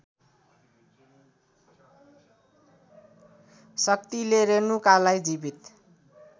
शक्तिले रेणुकालाई जिवित